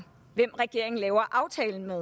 hvem regeringen laver aftalen med